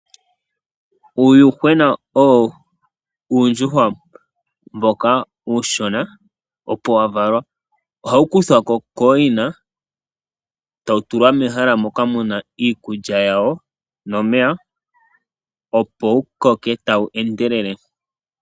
Uuyuhwena owo uundjuhwa mboka uushona opo wa valwa, oha wu kuthwako kooyina eta wu tulwa mehala moka muna iikulya yawo nomeya opo wu koke ta wu endelele.